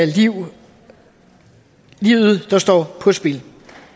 livet står på spil